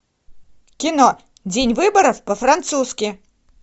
кино день выборов по французски